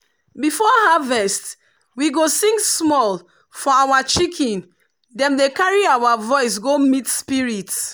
before harvest we go sing small for our chicken dem dey carry our voice go meet spirit.